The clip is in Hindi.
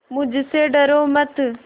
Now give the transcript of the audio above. मुझसे डरो मत